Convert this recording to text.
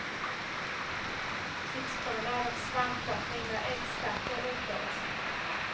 Tipspromenad och svampplockning med experter utlovas.